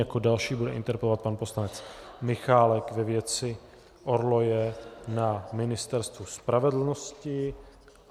Jako další bude interpelovat pan poslanec Michálek ve věci orloje na Ministerstvu spravedlnosti.